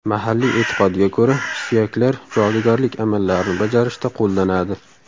Mahalliy e’tiqodga ko‘ra, suyaklar jodugarlik amallarini bajarishda qo‘llanadi.